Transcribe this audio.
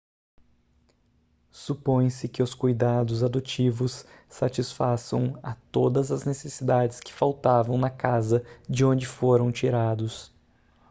supõe-se que os cuidados adotivos satisfaçam a todas as necessidades que faltavam na casa de onde foram tirados